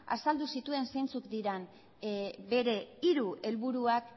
azaldu zituen zeintzuk diren bere hiru helburuak